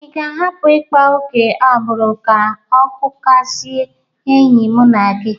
Ị ga-ahapụ ịkpa oke agbụrụ ka ọ kụkasịa enyi mụ na gi?